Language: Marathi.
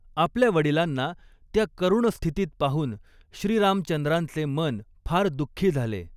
आपल्या वडिलांना त्या करुण स्थितीत पाहून श्रीरामचंद्रांचे मन फार दुःखी झाले.